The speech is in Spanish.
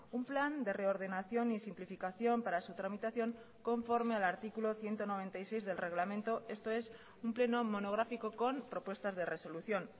un plan de reordenación y simplificación para su tramitación conforme al artículo ciento noventa y seis del reglamento esto es un pleno monográfico con propuestas de resolución